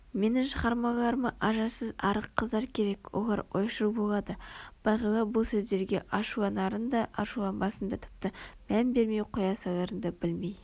менің шығармаларыма ажарсыз арық қыздар керек олар ойшыл болады бағила бұл сөздерге ашуланарын да ашуланбасын да тіпті мән бермей қоя саларын да білмей